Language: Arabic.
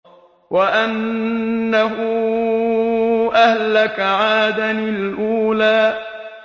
وَأَنَّهُ أَهْلَكَ عَادًا الْأُولَىٰ